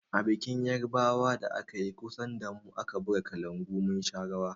A bikin yarbawan da akayi kusa damu, an buga kalangu mun sha rawa.